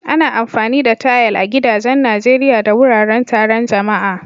Ana amfani da tayal a gidajen Najeriya da wuraren taron jama'a.